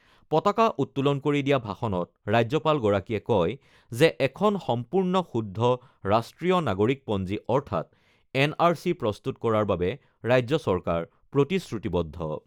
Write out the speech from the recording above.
পতাকা উত্তোলন কৰি দিয়া ভাষণত ৰাজ্যপালগৰাকীয়ে কয় যে এখন সম্পূৰ্ণ শুদ্ধ ৰাষ্ট্ৰীয় নাগৰিকপঞ্জী অৰ্থাৎ এন আৰ চি প্ৰস্তুত কৰাৰ বাবে ৰাজ্য চৰকাৰ প্ৰতিশ্ৰুতিবদ্ধ।